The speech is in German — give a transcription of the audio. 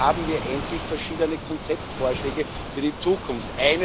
Jetzt haben wir endlich verschiedene Konzeptvorschläge für die Zukunft.